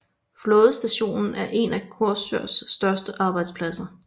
Flådestationen er en af Korsørs største arbejdspladser